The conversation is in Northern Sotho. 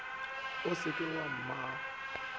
o sa le wa mmago